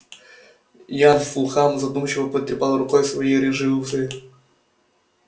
ян фулхам задумчиво потрепал рукой свои рыжие усы